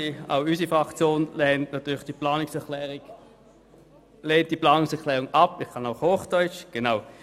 Auch unsere Fraktion lehnt diese Massnahme ab.